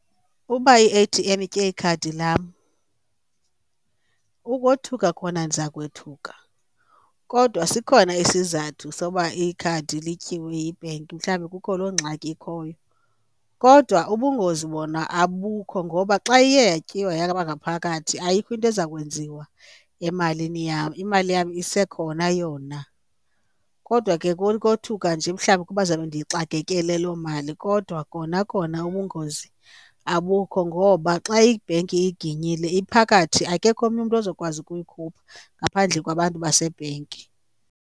Uba i-A_T_M itye ikhadi lam ukothuka khona ndiza kwethuka kodwa sikhona isizathu soba ikhadi lityiwe yibhenki mhlawumbi kukho loo ngxaki ikhoyo. Kodwa ubungozi bona abukho ngoba xa iye yatyiwa yaba ngaphakathi ayikho into eza kwenziwa emalini yam, imali yam isekhona yona. Kodwa ke kukothuka nje mhlawumbi kuba ndizabe ndiyixakekele loo mali, kodwa kona kona ubungozi abukho ngoba xa ibhenki iyiginyile iphakathi akekho omnye umntu ozokwazi ukuyikhupha ngaphandle kwabantu basebhenki.